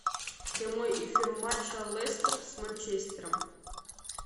прямой эфир матча лестер с манчестером